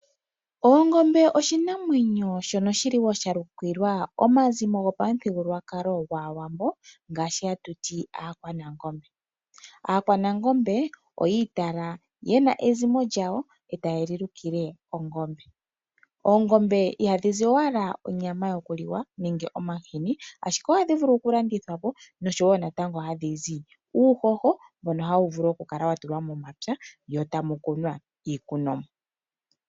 Oongombe oshinamwenyo shono wo sha lukilwa omazimo gopamuthigululwakalo gwAawambo ngono hatu ti Aakwanangombe. Aakwanangombe oyi itala ye na ezimo lyawo, e taye li lukile ongombe. Oongombe ihadhi zi owala onyama yokuliwa nenge omahini, ashike ohadhi vulu okulandithwa po nosho wo natango gadhi gandja uuhoho mboka hawu vulu okukala wa tulwa momapya mo tamu kunwa iikunomwa.